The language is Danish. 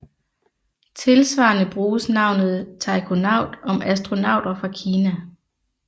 Tilsvarende bruges navnet taikonaut om astronauter fra Kina